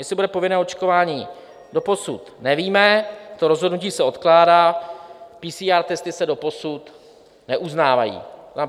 Jestli bude povinné očkování, doposud nevíme, to rozhodnutí se odkládá, PCR testy se doposud neuznávají.